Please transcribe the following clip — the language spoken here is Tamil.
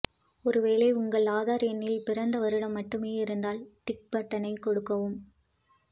ஒருவேளை உங்கள் ஆதார் எண்ணில் பிறந்த வருடம் மட்டுமே இருந்தால் டிக் பட்டனை கொடுக்கவும்